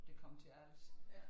Der kom til Als